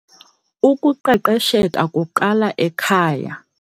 Ukuqeqesheka kuqala ekhaya.